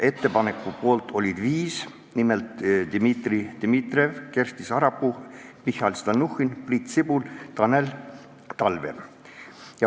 Ettepaneku poolt oli 5 komisjoni liiget, nimelt Dmitri Dmitrijev, Kersti Sarapuu, Mihhail Stalnuhhin, Priit Sibul ja Tanel Talve.